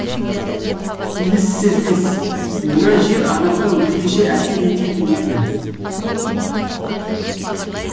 иіссезбес мына жер адамға өзгеше әсер етеді екен